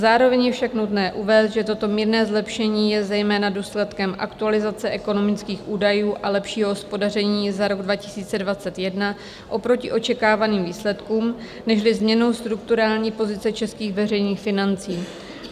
Zároveň je však nutné uvést, že toto mírné zlepšení je zejména důsledkem aktualizace ekonomických údajů a lepšího hospodaření za rok 2021 oproti očekávaným výsledkům nežli změnou strukturální pozice českých veřejných financí.